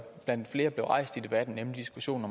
blandt flere blev rejst i debatten nemlig diskussionen